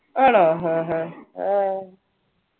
ആണോ ആഹ് ആഹ്